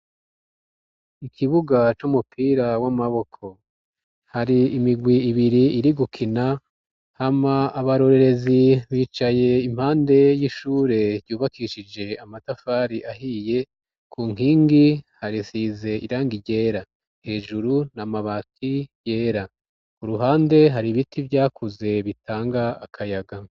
Ikibuga c'umupira w'amaboko hari imigwi ibiri irigukina hama abarorerezi bicaye impande y'ishure yubakishije amatafari ahiye, kunkingi hasize irangi ryera, hejuru n'amabati yera, k'uruhande har'ibiti vyakuze bitanga akayaga.